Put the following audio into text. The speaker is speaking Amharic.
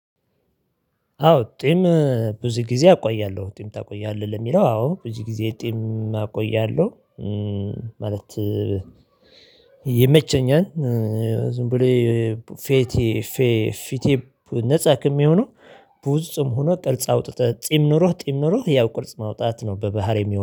አዎ ጺም ብዙ ጊዜ አቆያለሁ ጺም ታቆያለህ ለሚለው አዎ ብዙ ጊዜ ጺም አቆያለሁ። ይመቸኛል። ዝም ብሎ ፊቴ ነፃ ከሚሆን። ብዙ ጺም ሆኖ ቅርጽ አውጥተህ ጺም ኖሮህ ጺም ኖሮህ ያው ቅርጽ ማውጣት ነው በባህሪዬ